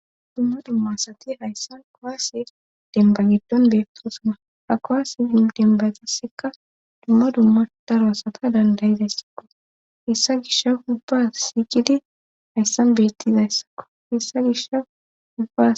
Dumma dumma asati hayssa kowaase demba giddon beettosuna ha kowaase denba zisekka dumma dumma daro asata dandayizayssakko hessa gisha ubba siiqidi hayssan beettizayssakko hessa gishha ubba.